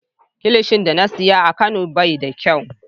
Kilishi da na siya a kano bai na kyau.